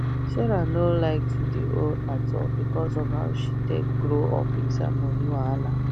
sarah no like to de owe at all because of how she take grow up inside money wahala